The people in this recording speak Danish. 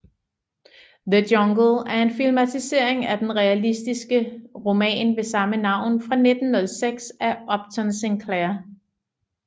The Jungle er en filmatisering af den realistiske roman med samme navn fra 1906 af Upton Sinclair